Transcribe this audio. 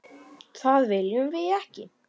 Það viljum við ekki.